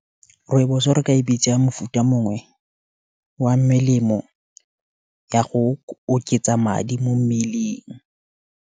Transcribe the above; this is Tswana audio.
Rooibos-o re ka e bitsa mofuta mongwe, wa melemo ya go oketsa madi, mo mmeleng.